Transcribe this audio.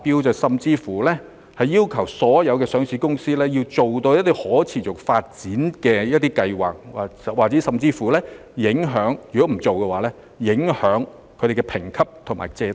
有政府甚至要求所有上市公司提交可持續發展計劃，否則他們的評級和借貸申請將會受到影響。